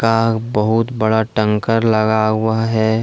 बहुत बड़ा टैंकर लगा हुआ है।